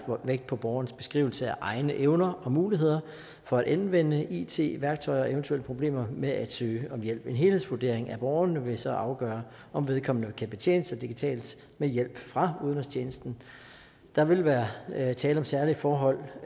vægt på borgerens beskrivelse af egne evner og muligheder for at anvende it værktøjer og eventuelle problemer med at søge om hjælp en helhedsvurdering af borgeren vil så afgøre om vedkommende kan betjene sig digitalt med hjælp fra udenrigstjenesten der vil være tale om særlige forhold